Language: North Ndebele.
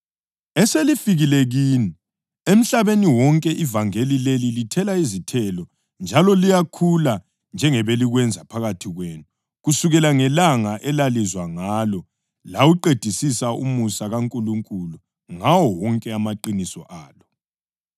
eselifikile kini. Emhlabeni wonke ivangeli leli lithela izithelo njalo liyakhula njengebelikwenza phakathi kwenu kusukela ngelanga elalizwa ngalo lawuqedisisa umusa kaNkulunkulu ngawo wonke amaqiniso alo.